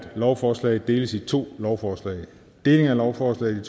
lovforslaget deles i to lovforslag lovforslag